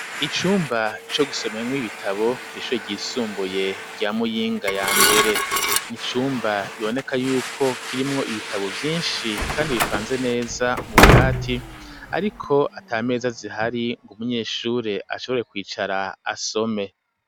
Icumba co gusomwo nk'ibitabo kw'ishure ry'isunbuye rya muyinga ya mbere nicumba biboneka yuko kirimwo ibitabo vyinshi kandi bipanze neza mu bubati ariko atameza zihari ngo umunyeshure ashobore kwicara asome.